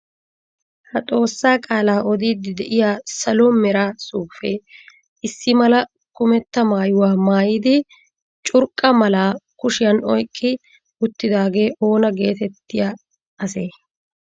Ha Xoossaa qaalaa odiiddi de'iya Salo mera suufe issimala kumetta maayuwa maayidi curqqa malaa kushiyan oyqqi uttidaagee oona geetettiya asee?